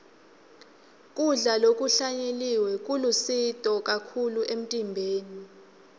kudla lokuhlanyeliwe kulusito kakhulu emtimbeni